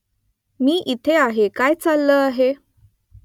मी इथे आहे . काय चाललं आहे ?